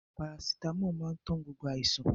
Parasitámọ̀ máa ń tán gbogbo àìsàn.